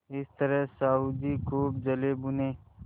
इस तरह साहु जी खूब जलेभुने